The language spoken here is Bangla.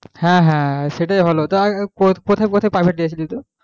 হ্যাঁ হ্যাঁ সেটাই ভালো টা কোথায় কোথায় private দিয়ে ছিলি তুই,